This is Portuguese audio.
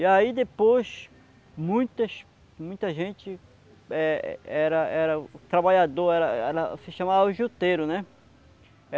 E aí depois, muitas... Muita gente é era era... O trabalhador era era... Se chamava juteiro, né?